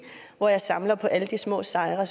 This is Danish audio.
hvor jeg samler på alle de små sejre